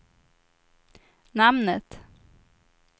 namnet